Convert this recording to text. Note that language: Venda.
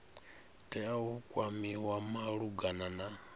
tea u kwamiwa malugana na